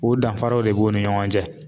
O danfaraw de b'u ni ɲɔgɔn cɛ.